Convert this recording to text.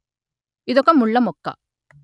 ఇదొక ముళ్ళ మొక్క